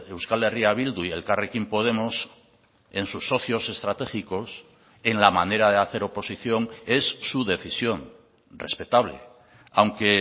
euskal herria bildu y elkarrekin podemos en sus socios estratégicos en la manera de hacer oposición es su decisión respetable aunque